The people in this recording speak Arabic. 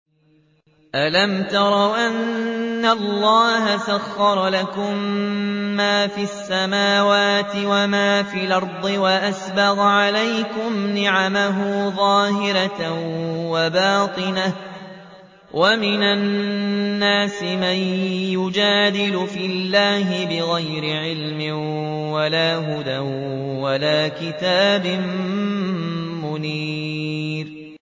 أَلَمْ تَرَوْا أَنَّ اللَّهَ سَخَّرَ لَكُم مَّا فِي السَّمَاوَاتِ وَمَا فِي الْأَرْضِ وَأَسْبَغَ عَلَيْكُمْ نِعَمَهُ ظَاهِرَةً وَبَاطِنَةً ۗ وَمِنَ النَّاسِ مَن يُجَادِلُ فِي اللَّهِ بِغَيْرِ عِلْمٍ وَلَا هُدًى وَلَا كِتَابٍ مُّنِيرٍ